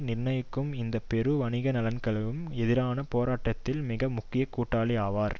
நிர்ணயிக்கும் இந்த பெரு வணிக நலன்களுக்கு எதிரான போராட்டத்தில் மிக முக்கிய கூட்டாளி ஆவர்